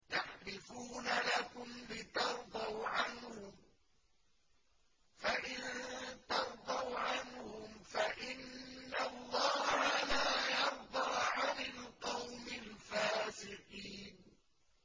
يَحْلِفُونَ لَكُمْ لِتَرْضَوْا عَنْهُمْ ۖ فَإِن تَرْضَوْا عَنْهُمْ فَإِنَّ اللَّهَ لَا يَرْضَىٰ عَنِ الْقَوْمِ الْفَاسِقِينَ